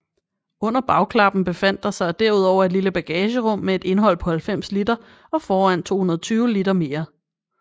Under bagklappen befandt der sig derudover et lille bagagerum med et indhold på 90 liter og foran 220 liter mere